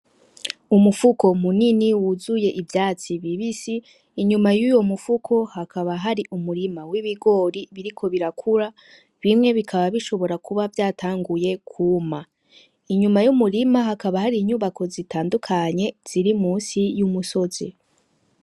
Umufuko munini wuzuye ivyatsi bibisi. Inyuma y'uwo mufuko, hakaba hari umurima w'ibigori biriko birakura, bimwe bikaba bishibora kuba vyaranguye kwuma. Inyuma y'umurima hakaba hari inyubako zitandukanye ziri musi y'umusozi.